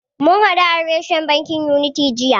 Mun hadu a reshen bankin Unity jiya.